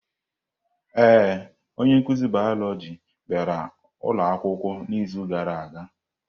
Ee, onye nkuzi Bioloji bịara ụlọ akwụkwọ n'izu gara aga.